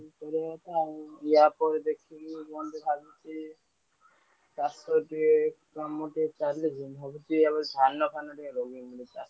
ଚଳିବା କଥା ଏହା ପରେ ଦେଖିବି କଣ ଦେଖାଯାଉଛି। ଚାଷ ଟିକେ କାମ ଟିକେ ଚାଲିଛି ମୁଁ ଭାବୁଛି ଧାନ ଫାନ ରୋଇବିନି।